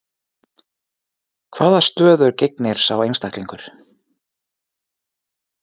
Hvaða stöðu gegnir sá einstaklingur?